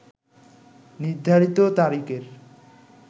নির্ধারিত তারিখের